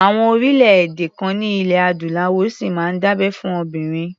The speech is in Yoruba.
Àwọn orílẹ̀-èdè kan ní ilẹ̀ Adúláwọ̀ ṣì máa ń dábẹ́ fún obìnrin.